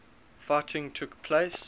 fighting took place